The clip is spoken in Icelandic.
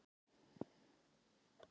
Eitthvað fyrir þig